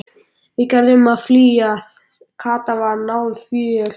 Við verðum að flýja. Kata var náföl.